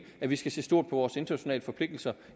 at vi skal se stort på vores internationale forpligtelser